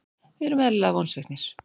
Við erum eðlilega vonsviknir.